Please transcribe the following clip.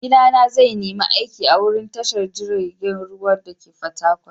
Maigida na zai nima aiki a'wurin tashar jirigin ruwan dake a'Fatakwal.